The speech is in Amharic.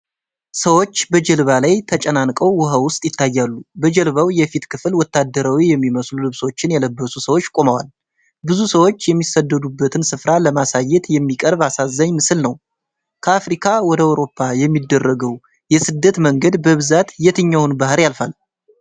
ሰዎች በጀልባዎች ላይ ተጨናንቀው ውሀ ውስጥ ይታያሉ። በጀልባው የፊት ክፍል ወታደራዊ የሚመስሉ ልብሶችን የለበሱ ሰዎች ቆመዋል። ብዙ ሰዎች የሚሰደዱበትን ስፍራ ለማሳየት የሚቀርብ አሳዛኝ ምስል ነው። ከአፍሪካ ወደ አውሮፓ የሚደረገው የስደት መንገድ በብዛት የትኛውን ባሕር ያልፋል?